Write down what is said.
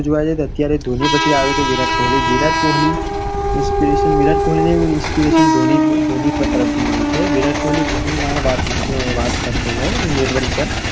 પછી આવે તો વિરાટ કોહલી. વિરાટ કોહલી inspiration વિરાટ કોહલી ને એવુ inspiration ધોની તરફથી મળ્યું છે. વિરાટ કોહલી ઘણી વાર વાત વાત કરતો હોય network પર